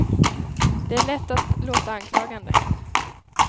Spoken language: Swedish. Det är lätt att låta anklagande.